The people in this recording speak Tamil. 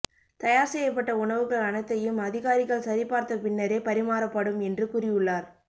தயார் செய்யப்பட்ட உணவுகள் அனைத்தையும் அதிகாரிகள் சரி பார்த்த பின்னரே பரிமாறப்படும் என்று கூறியுள்ளார்